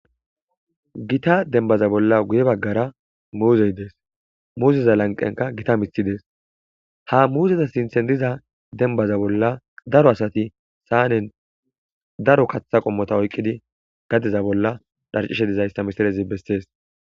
Gita denbaza bolla guye baggara muuzey dees muuzeza lanqenka gita mithidees ha muuzeza sinthen diza denbaza bolla daro asati saanen daro kaththa qommota oykqidi gadeza bolla dharcishe dizayssa misirezi bessees.